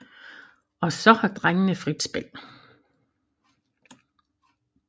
Og så har drengene frit spil